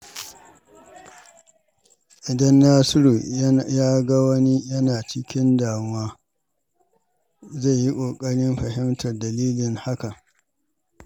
Idan Nasiru ya ga wani yana cikin damuwa, zai yi kokarin fahimtar dalilin hakan.